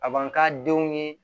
A b'an ka denw ye